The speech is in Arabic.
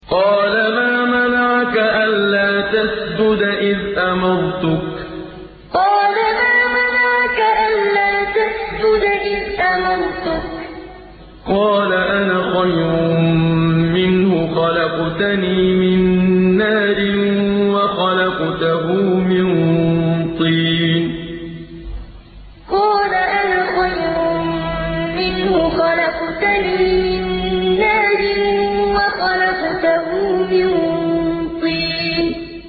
قَالَ مَا مَنَعَكَ أَلَّا تَسْجُدَ إِذْ أَمَرْتُكَ ۖ قَالَ أَنَا خَيْرٌ مِّنْهُ خَلَقْتَنِي مِن نَّارٍ وَخَلَقْتَهُ مِن طِينٍ قَالَ مَا مَنَعَكَ أَلَّا تَسْجُدَ إِذْ أَمَرْتُكَ ۖ قَالَ أَنَا خَيْرٌ مِّنْهُ خَلَقْتَنِي مِن نَّارٍ وَخَلَقْتَهُ مِن طِينٍ